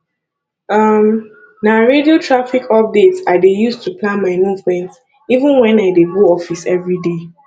um na radio traffic updates i dey use to plan my movement even wen i dey go office every day